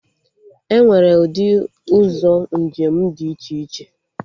Enwere ụdị ụzọ njem dị iche iche